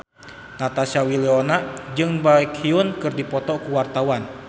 Natasha Wilona jeung Baekhyun keur dipoto ku wartawan